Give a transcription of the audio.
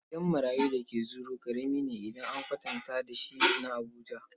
Gidan marayun da ke Zuru ƙarami ne idan an kwatanta da shi na Abuja.